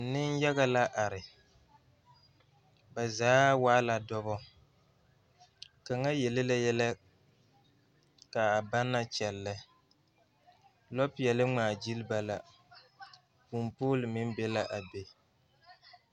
Ninyaga la are ba zaa waalaa dɔba kaŋa yelle la yɛllɛ kaa ba naŋ kyɛllɛ lɔpeɛle ŋmaa gyilli ba la kunpuule meŋ be la a be.